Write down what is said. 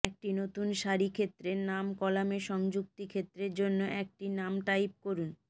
একটি নতুন সারি ক্ষেত্রের নাম কলামে সংযুক্তি ক্ষেত্রের জন্য একটি নাম টাইপ করুন